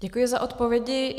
Děkuji za odpovědi.